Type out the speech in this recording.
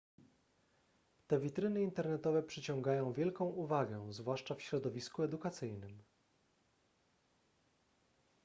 te witryny internetowe przyciągają wielką uwagę zwłaszcza w środowisku edukacyjnym